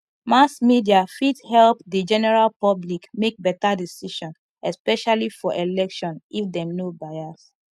mass media fit help the general public make better decision especially for election if dem no bias